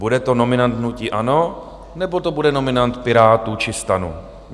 Bude to nominant hnutí ANO, nebo to bude nominant Pirátů či STANu?